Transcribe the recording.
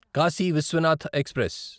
Kashi Vishwanath express